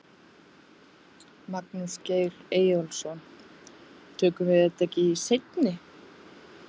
Magnús Geir Eyjólfsson: Tökum við þetta ekki í seinni?